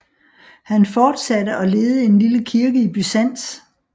Han fortsatte at lede en lille kirke i Byzans